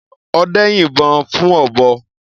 Ọdẹ́ yin ìbọn fún ọ̀bọ.